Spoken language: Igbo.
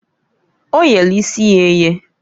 O yelu isi ya eye.